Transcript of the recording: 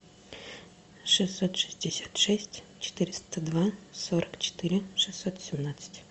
шестьсот шестьдесят шесть четыреста два сорок четыре шестьсот семнадцать